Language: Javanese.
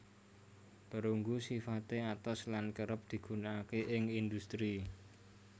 Perunggu sifate atos lan kerep digunakake ing industri